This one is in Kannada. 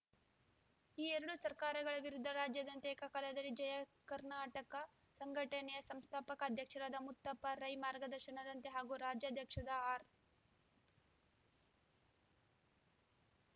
ಈ ಎರಡು ಸರ್ಕಾರಗಳ ವಿರುದ್ಧ ರಾಜ್ಯಾದ್ಯಂತ ಏಕಕಾಲದಲ್ಲಿ ಜಯ ಕರ್ನಾಟಕ ಸಂಘಟನೆಯ ಸಂಸ್ಥಾಪಕ ಅಧ್ಯಕ್ಷರಾದ ಮುತ್ತಪ್ಪ ರೈ ಮಾರ್ಗದರ್ಶನದಂತೆ ಹಾಗೂ ರಾಜ್ಯಾಧ್ಯಕ್ಷದ ಆರ್‌